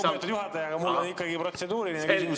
Lugupeetud juhataja, aga mul on ikkagi protseduuriline küsimus.